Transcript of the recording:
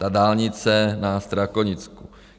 Ta dálnice na Strakonicku.